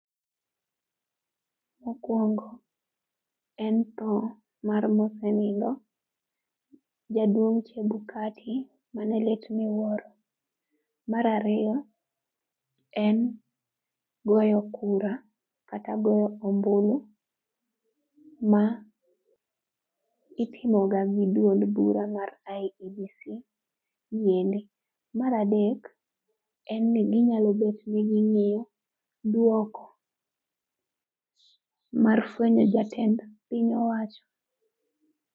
Mokwongo, en mar mosenindo jaduong' Chebukati mane lit miwuoro. Mar ariyo en goyo kura kata go ombulu ma itimo ga gi duond bura mar IEBC . Mar adek en ni ginyalo bet ni ging'iyo dwoko mar fwenyo jatend piny owacho.